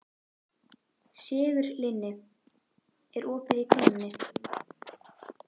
Sigurlinni, er opið í Krónunni?